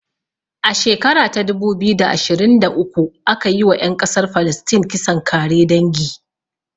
A shekara ta dubu ashirin da ashirin da uku aka yi wa ƴan ƙasar falistin kisan kare dangi